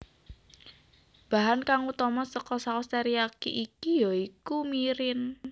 Bahan kang utama saka saos teriyaki iki ya iku mirin